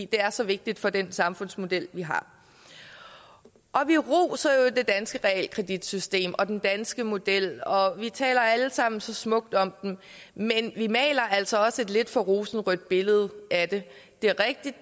det er så vigtigt for den samfundsmodel vi har vi roser jo det danske realkreditsystem og den danske model og vi taler alle sammen så smukt om den men vi maler altså også et lidt for rosenrødt billede af det det er rigtigt